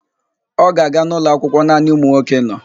Ọ ga-aga n'ụlọakwụkwọ naanị ụmụnwoke nọ?